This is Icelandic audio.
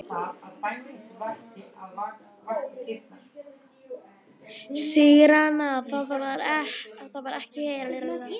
Sigrana vann hún ekki ein.